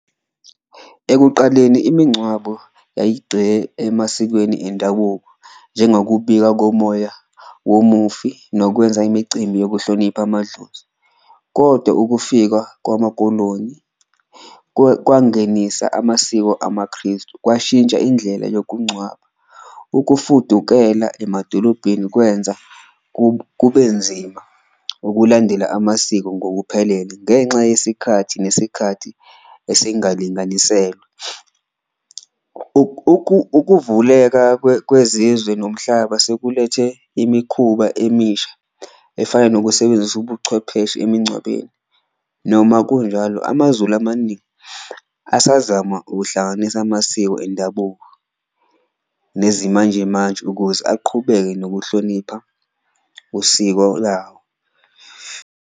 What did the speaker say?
Ekuqaleni imingcwabo emasikweni endabuko njengokubika komoya womufi, nokwenza imicimbi yokuhlonipha amadlozi, koda ukufika kwamaKoloni kwangenisa amasiko amaKristu, kwashintsha indlela yokungcwaba. Ukufudukela emadolobheni kwenza kube nzima ukulandela amasiko ngokuphelele ngenxa yesikhathi nesikhathi esingalinganiselwe, ukuvuleka kwezizwe nomhlaba sekulethe imikhuba emisha efana nokusebenzisa ubuchwepheshe emngcwabeni. Noma kunjalo, amaZulu amaningi asazama ukuhlanganisa amasiko endabuko nezimanjemanje ukuze aqhubeke nokuhlonipha usiko lawo.